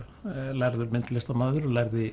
lærður myndlistarmaður lærði